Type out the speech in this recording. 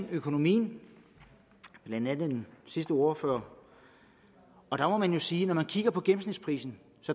økonomien blandt andet den sidste ordfører og der må man jo sige at når man kigger på gennemsnitsprisen